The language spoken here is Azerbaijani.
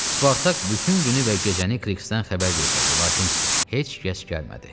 Spartak bütün günü və gecəni Krikdən xəbər gözlədi, lakin heç kəs gəlmədi.